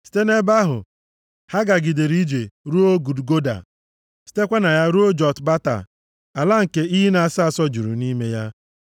Site nʼebe ahụ, ha gagidere ije ruo Gudgoda, sitekwa na ya ruo Jotbata, ala nke iyi na-asọ asọ juru nʼime ya.